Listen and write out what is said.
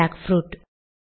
jackfruit